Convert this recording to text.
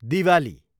Diwali